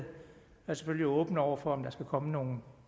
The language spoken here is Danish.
vi er selvfølgelig åbne over for om der skulle komme nogle